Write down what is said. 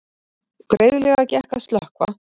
Greiðlega gekk að slökkva